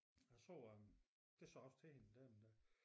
Jeg så øh det sagde jeg også til hende den anden dag